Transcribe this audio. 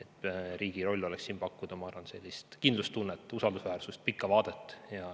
Ma arvan, et riigi roll oleks siin pakkuda kindlustunnet, usaldusväärsust ja pikka vaadet.